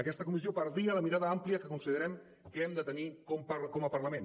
aquesta comissió perdia la mirada àmplia que considerem que hem de tenir com a parlament